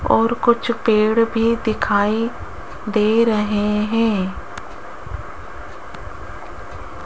और कुछ पेड़ भी दिखाई दे रहे है।